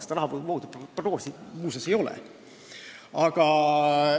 Seda rahavoogude prognoosi muuseas ei ole.